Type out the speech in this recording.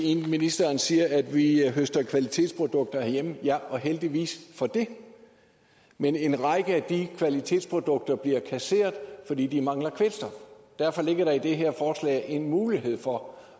ind ministeren siger at vi høster kvalitetsprodukter herhjemme ja og heldigvis for det men en række af de kvalitetsprodukter bliver kasseret fordi de mangler kvælstof derfor ligger der i det her forslag en mulighed for